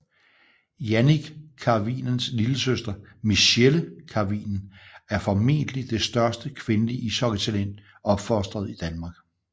Jannik Karvinens lillesøster Michelle Karvinen er formentlig det største kvindelige ishockeytalent opfostret i Danmark